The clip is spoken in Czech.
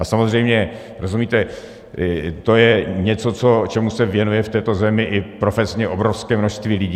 A samozřejmě, rozumíte, to je něco, čemu se věnuje v této zemi i profesně obrovské množství lidí.